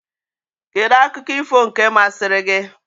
Kedụ akụkọ ifo nke mmasịri gị?